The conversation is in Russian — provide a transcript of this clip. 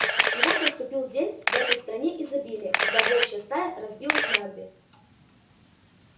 и вот наступил день в этой стране изобилия когда волчья стая разбилась на две